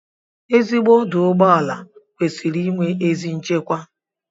Ezigbo ọdụụgbọala kwesịrị inwe ezi nchekwa